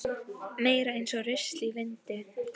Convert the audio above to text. Meira eins og rusl í vindi.